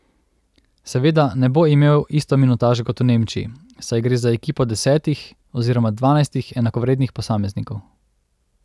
Seveda ne bo imel isto minutažo kot v Nemčiji, saj gre za ekipo desetih oziroma dvanajstih enakovrednih posameznikov.